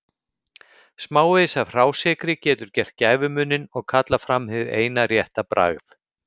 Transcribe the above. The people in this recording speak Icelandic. Smávegis af hrásykri getur gert gæfumuninn og kallað fram hið eina rétta bragð.